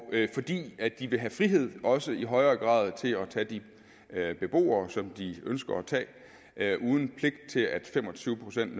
fordi de vil have frihed til også i højere grad at tage de beboere som de ønsker at tage uden pligt til at fem og tyve procent